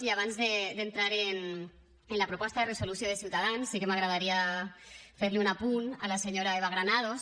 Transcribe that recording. i abans d’entrar en la proposta de resolució de ciutadans sí que m’agradaria fer li un apunt a la senyora eva granados